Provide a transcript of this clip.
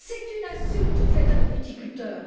C'est une insulte faite à nos viticulteurs.